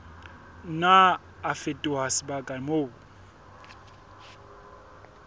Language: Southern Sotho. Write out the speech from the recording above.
nna a fetoha sebaka moo